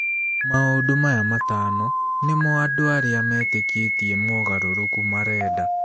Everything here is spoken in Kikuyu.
Maũndũ maya matano nĩ mo andũ arĩa metĩkĩtie mogarũrũku marenda.